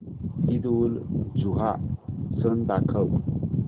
ईदउलजुहा सण दाखव